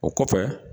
O kɔfɛ